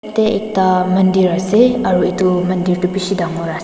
te ekta mandir ase aru edu mandir tu bishi dangor ase--